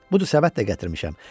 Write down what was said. Budur, səbət də gətirmişəm.